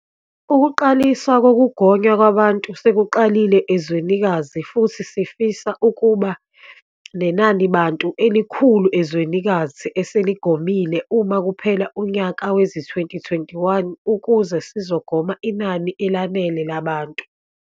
Ukuqaliswa kokugonywa kwabantu sekuqalile ezwenikazi futhi sifisa ukuba nenanibantu elikhulu ezwenikazi eseligomile uma kuphela unyaka wezi-2021 ukuze sizogoma inani elanele labantu.